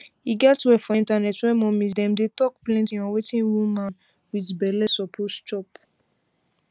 e get where for internet where mommies dem dey talk plenty on wetin woman um wit belle suppose chop